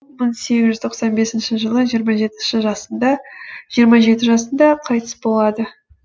мың сегіз жүз тоқсан бесінші жылы жиырма жеті жасында қайтыс болады